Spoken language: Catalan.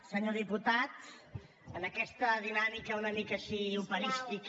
senyor diputat en aquesta dinàmica una mica així operística